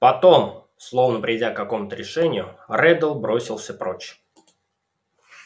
потом словно придя к какому-то решению реддл бросился прочь